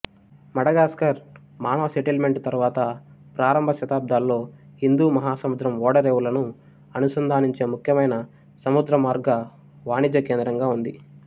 Madagascar మానవ settlement తరువాత ప్రారంభ శతాబ్దాల్లో హిందూ మహాసముద్రం ఓడరేవులను అనుసంధానించే ముఖ్యమైన సముద్రమార్గ వాణిజ్య కేంద్రంగా ఉంది